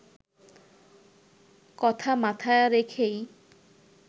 কথা মাথায় রেখেই